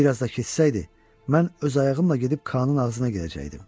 Bir az da kessəydi, mən öz ayağımla gedib Kanın ağzına gedəcəkdim.